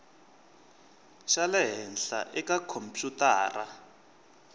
xa le henhla eka khompyutara